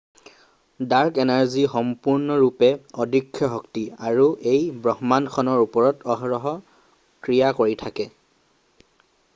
dark energy সম্পূৰ্ণৰূপে অদৃশ্য শক্তি আৰু ই ব্ৰহ্মাণ্ডখনৰ ওপৰত অহৰহ ক্ৰিয়া কৰি থাকে